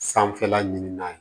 Sanfɛla ɲinina